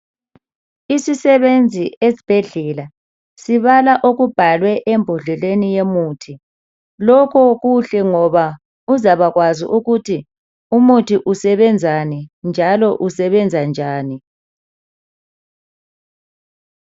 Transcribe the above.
Isisebenzi esibhedlela, sibala okubhalwe embodleleni yomuthi. Lokho kuhle ngoba uzabakwazi ukuthi, umuthi usebenzani, njalo usebenza njani,